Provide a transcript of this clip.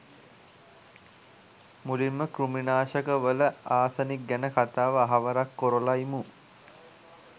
මුලින්ම කෘමිනාශකවල ආසනික් ගැන කතාව අහවරක් කොරල ඉමු